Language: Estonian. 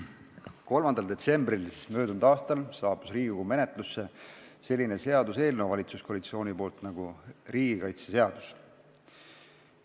Möödunud aasta 3. detsembril saabus valitsuskoalitsioonilt Riigikogule menetlusse selline seaduseelnõu nagu riigikaitseseadus.